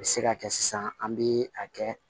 A bɛ se ka kɛ sisan an bɛ a kɛ